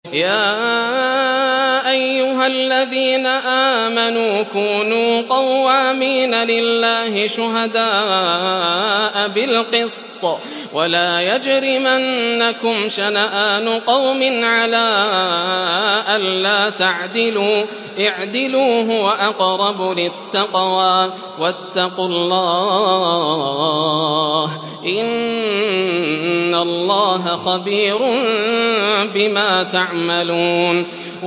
يَا أَيُّهَا الَّذِينَ آمَنُوا كُونُوا قَوَّامِينَ لِلَّهِ شُهَدَاءَ بِالْقِسْطِ ۖ وَلَا يَجْرِمَنَّكُمْ شَنَآنُ قَوْمٍ عَلَىٰ أَلَّا تَعْدِلُوا ۚ اعْدِلُوا هُوَ أَقْرَبُ لِلتَّقْوَىٰ ۖ وَاتَّقُوا اللَّهَ ۚ إِنَّ اللَّهَ خَبِيرٌ بِمَا تَعْمَلُونَ